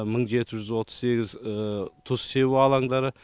мың жеті жүз отыз сегіз тұз себу алаңдары